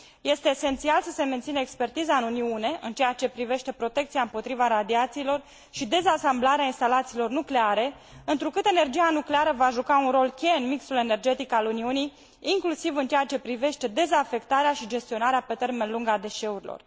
Este esențial să se mențină expertiza în Uniune, în ceea ce privește protecția împotriva radiațiilor și dezasamblarea instalațiilor nucleare, întrucât energia nucleară va juca un rol cheie în mixul energetic al Uniunii, inclusiv în ceea ce privește dezafectarea și gestionarea pe termen lung a deșeurilor.